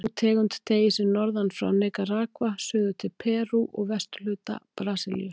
Sú tegund teygir sig norðan frá Nikaragva, suður til Perú og vesturhluta Brasilíu.